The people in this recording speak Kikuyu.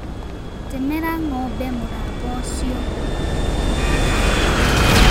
Temera ngombe mũramba ũcio.